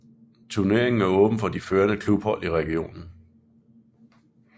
Turneringen er åben for de førende klubhold i regionen